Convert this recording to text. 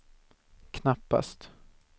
knappast